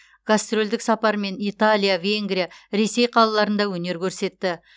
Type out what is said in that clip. гастрольдік сапармен италия венгрия ресей қалаларында өнер көрсетті